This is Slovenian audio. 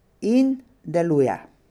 In deluje.